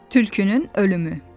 Tülkünün ölümü.